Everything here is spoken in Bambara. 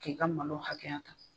K'i ka malo hakɛya ta.